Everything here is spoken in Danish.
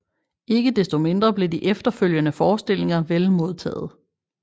Ikke desto mindre blev de efterfølgende forestillinger vel modtaget